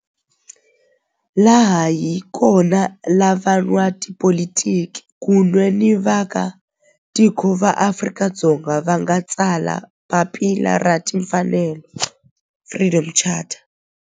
Laha hi kona la van'watipolitiki kun'we ni vaaka tiko va Afrika-Dzonga va nga tsala papila ra timfanelo Freedom Charter.